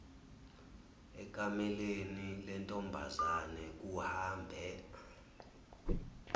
ekameleni lentombazane kuhambe